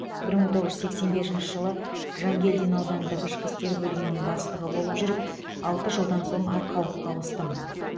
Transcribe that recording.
бір мың тоғыз жүз сексен бесінші жылы жангелдин аудандық ішкі істер бөлімінің бастығы болып жүріп алты жылдан соң арқалыққа ауыстым